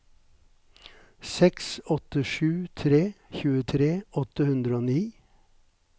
seks åtte sju tre tjuetre åtte hundre og ni